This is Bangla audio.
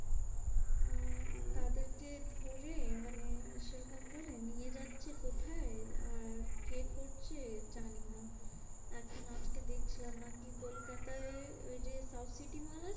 আর হম তাদেরকে ধরে মানে সেরকম করে নিয়ে যাচ্ছে কোথায়? আর কে করছে জানিনা? কলকাতায় ওই যে সাউথ সিটি মল আছে